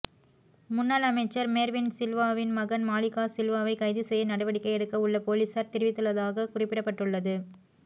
முன்னாள் அமைச்சர் மேர்வின் சில்வாவின் மகன் மாலிக சில்வாவை கைதுசெய்ய நடவடிக்கை எடுக்க உள்ள பொலிஸார் தெரிவித்துள்ளதாக குறிப்பிடப்பட்டுள்ளது